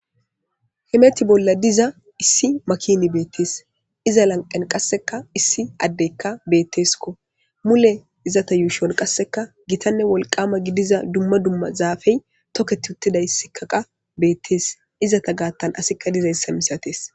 Hemethi bolla diza keethika issi makinika beetes iza lanqen kaseka issi addeka beetes mule izeta yuushon kaseka gitane wolqaama gidiza duma duma zaafey toketutidaysika beetes izeta gaathan kaseka dizaysa misates.